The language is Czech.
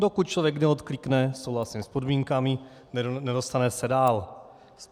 Dokud člověk neodklikne "souhlasím s podmínkami", nedostane se dál.